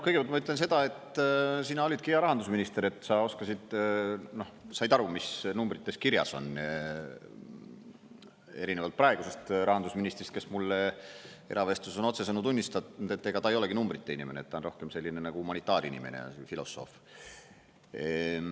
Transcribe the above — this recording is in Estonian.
Kõigepealt ma ütlen seda, et sina olidki hea rahandusminister, sa oskasid, said aru, mis numbrites kirjas on, erinevalt praegusest rahandusministrist, kes mulle eravestluses on otsesõnu tunnistanud, et ega ta ei olegi numbrite inimene, ta on rohkem selline nagu humanitaarinimene ja filosoof.